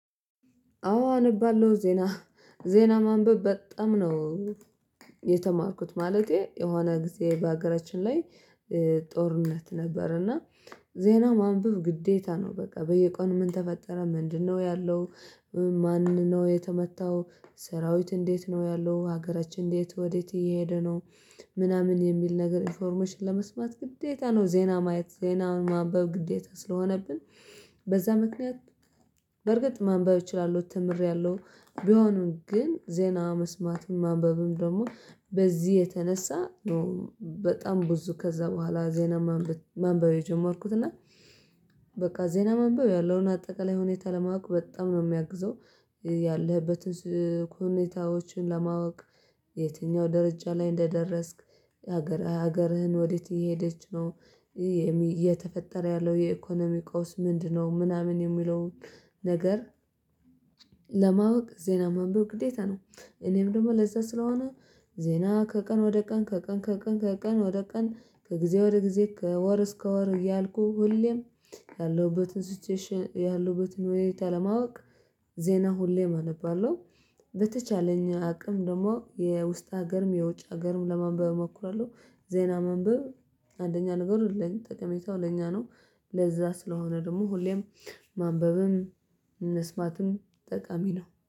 አዎ አነባለሁ ዜና፤ ዜና ማንበብ በጣም ነው። የተማርኩት ማለቴ የሆነ ጊዜ በሀገራችን ላይ ጦርነት ነበር እና ዜና ማንበብ ግዴታ ነው። በቃ በየቀኑ ምን ተፈጠረ ምንድነው ያለው? ማን ነው የተመታው? ሰራዊት እንዴት ነው ያለው ሀገራችን እንዴት ወዴት እየሄደ ነው? ምናምን የሚል ነገር ኢንፎርሜሽን ለመስማት ግዴታ ነው ዜና ማየት ዜና ማንበብ ግዴታ ስለሆነብን። በዛ ምክንያት በርግጥ ማንበብ እችላለሁ ተምሬያለሁ። ቢሆንም ግን ዜና መስማቱን ማንበብም ደግሞ በዚህ የተነሳ ነው። በጣም ብዙ ከዛ በኋላ ዜና ማንበብ የጀመርኩት እና በቃ ዜና ማንበብ ያለውን አጠቃላይ ሁኔታ ለማወቅ በጣም ነው የሚያግዘው። ያለህበትን ኩኔታዎችን ለማወቅ የትኛው ደረጃ ላይ እንደደረስክ? ሀገር ሀገርህን ወዴት እየሄደች ነው? እየተፈጠረ ያለው የኢኮኖሚ ቀውስ ምንድነው? ምናምን የሚለውን ነገር ለማወቅ ዜና ማንበብ ግዴታ ነው። እኔም ደግሞ ለዛ ስለሆነ ዜና ከቀን ወደ ቀን ከቀን ከቀን ከቀን ወደ ቀን ከጊዜ ወደ ጊዜ ከወር እስከ ወር እያልኩ ሁሌም ያለሁበትን ሲቹዌሽን ያለሁበትን ሁኔታ ለማወቅ ዜና ሁሌም አነባለሁ። በተቻለኝ አቅም ደግሞ የውስጥ ሀገርም የውጭ ሀገርም ለማንበብ እሞክራለሁ። ዜና ማንበብ አንደኛ ነገር የለኝም ጠቀሜታው ለኛ ነው። ለዛ ስለሆነ ደግሞ ሁሌም ማንበብም መስማትም ጠቃሚ ነው፤